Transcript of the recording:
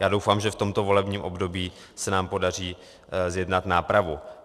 Já doufám, že v tomto volebním období se nám podaří zjednat nápravu.